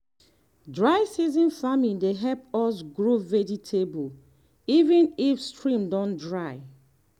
dry season farming dey help us grow vegetable even if stream don dry.